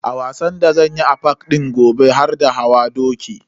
A wasan da zanyi a park din gobe har da hawa doki.